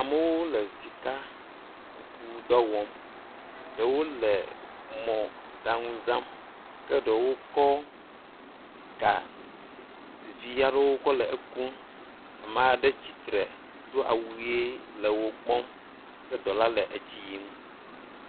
Amewo le sikakuku dɔ wɔm. Ɖewo le mɔɖaŋu zam ke ɖewo kɔ ga vi aɖe kɔ le ekum. Ame aɖe tsitre do awu ʋie le wo kpɔm ke dɔ la le edzi yim.